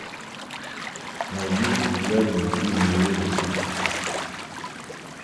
найди популярные фильмы ужасов